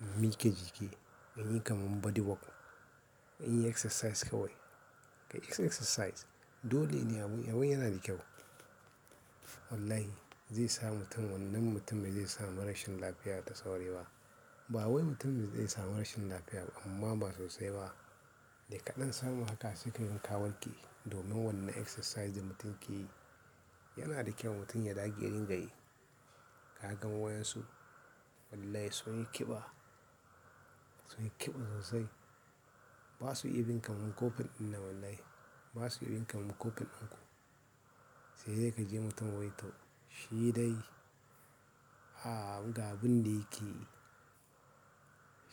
In mika jiki, in yi kamar body work, in yi exercise kawai. Kai exercise dole ne abun yana da kyau. Wallahi zai sa mutum wannan mutum bai zai samu rashin lafiya ta sauri ba. Ba wai mutum zai samu rashin lafiya ba amma ba sosai ba. Da kaɗan samu haka sai kaga ka warke domin wannan exercise da mutum ke yi yanada kyau mutum ya ɗage ya ringayi. Ka ga wayansu? Wallahi sunyi kiɓa sunyi kiɓa sosai ba su iya bin kamar ƙofan ɗin nan wallahi ba su iya bin kamar kofin ɗinku. Sai dai ka ji mutum wai to shi dai, a ga abin da yake yi.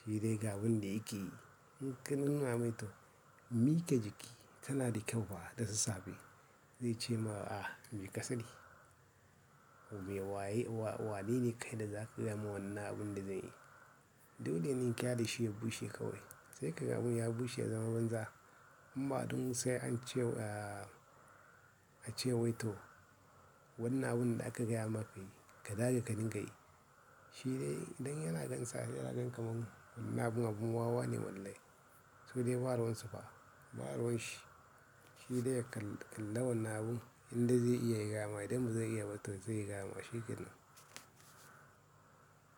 Shi dai ga abin da yake yi. In ka nuna mai to mika jiki kana da kyau fa da sassafe. Zai ce ma a mika sani. Me waye wa-- wane ne kai da za ka gaya wa wannan abin da zai yi? Dole ne in kyale shi ya bushe kawai. Sai ka ga abun ya bushe ya zama banza. Imma dum sai ance ya a ce wai to wannan abun da aka gaya maka yi, ka dage ka ringayi. Shi dai idan yana gan sa yana gan kaman wannan abun abun wawa ne wallahi. So dai ba ruwan su fa, ba ruwan shi. Shi dai kallon wannan abun indai zai iya ya gayama idan ba zai iya ba to zai gayama shi ke nan.